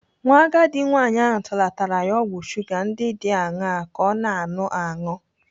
Nwa agadi nwaanyị ahụ tụlatara ya ọgwụ shuga ndị dị aṅaa ka ọ na-anụ aṅụ.